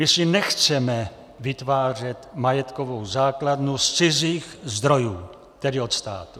My si nechceme vytvářet majetkovou základnu z cizích zdrojů, tedy od státu.